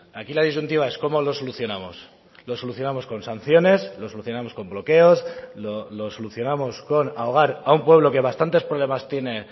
aquí la disyuntiva es cómo lo solucionamos lo solucionamos con sanciones lo solucionamos con bloqueos lo solucionamos con ahogar a un pueblo que bastantes problemas tiene